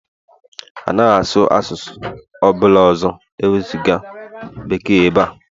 Anaghị asụ asụsụ ọ bụla ọzọ ewezuga Bekee ebe a!